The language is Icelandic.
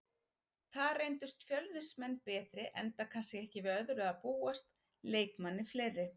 Þar reyndust Fjölnismenn betri enda kannski ekki við öðru að búast, leikmanni fleiri.